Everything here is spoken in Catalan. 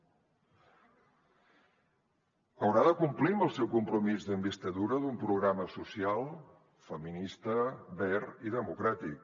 haurà de complir amb el seu compromís d’investidura d’un programa social feminista verd i democràtic